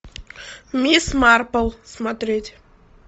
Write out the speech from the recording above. мисс марпл смотреть